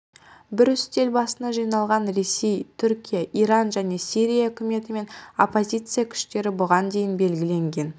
бір үстел басына жиналған ресей түркия иран және сирия үкіметі мен оппозиция күштері бұған дейін белгіленген